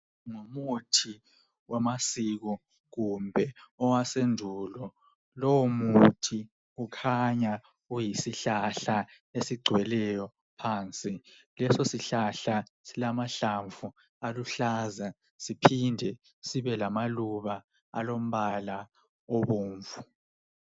Ngumuthi wamasiko kumbe owasendulo lowu muthi ukhanya uyisihlahla esigcweleyo phansi leso sihlahla silamahlamvu aluhlaza siphinde sibe lamaluba alombala obomvu.